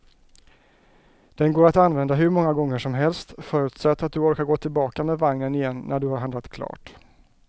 Den går att använda hur många gånger som helst, förutsatt att du orkar gå tillbaka med vagnen igen när du har handlat klart.